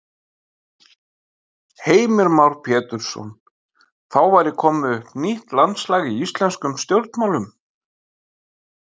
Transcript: Heimir Már Pétursson: Þá væri komið upp nýtt landslag í íslenskum stjórnmálum?